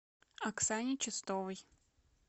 оксане чистовой